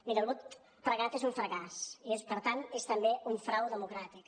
miri el vot pregat és un fracàs i per tant és també un frau democràtic